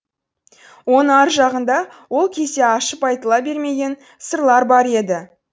оны ар жағында ол кезде ашып айтыла бермеген сырлар бар еді